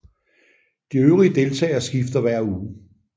De øvrige deltagere skifter hver uge